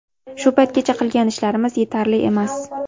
Shu paytgacha qilgan ishlarimiz yetarli emas.